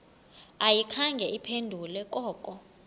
ayikhange iphendule koko